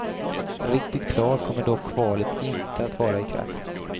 Riktigt klart kommer dock kvalet inte att vara i kväll.